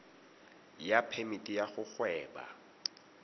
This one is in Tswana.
ya phemiti ya go gweba